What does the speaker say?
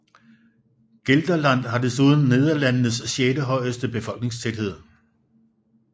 Gelderland har desuden Nederlandenes sjette højeste befolkningstæthed